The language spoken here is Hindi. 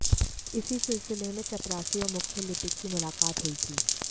इसी सिलसिले में चपरासी और मुख्य लिपिक की मुलाकात हुई थी